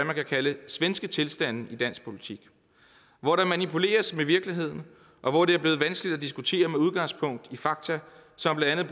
man kan kalde svenske tilstande i dansk politik hvor der manipuleres med virkeligheden og hvor det er blevet vanskeligt at diskutere med udgangspunkt i fakta som blandt